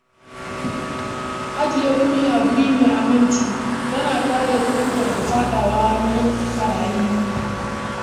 Ajiye kuɗi a wuri mai aminci yana kare kuɗin daga faɗawa hannun ɓarayi.